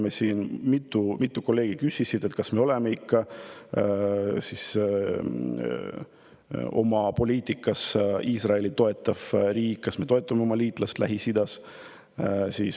Meil siin mitu kolleegi küsisid, kas me oleme oma poliitikaga ikka Iisraeli toetav riik, kas me toetame oma liitlast Lähis-Idas.